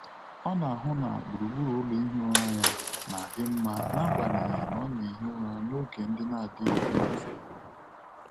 Ọ na-ahụ na gburugburu ụlọ ihi ụra ya na-adị mma n'agbanyeghị na ọ na-ehi ụra n'oge ndị na-adịghị n'otu.